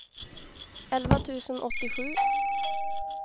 elva tusen åttiosju